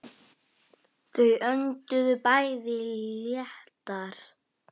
Hann gat ekki sofið.